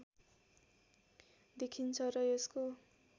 देखिन्छ र यसको